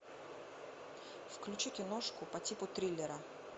включи киношку по типу триллера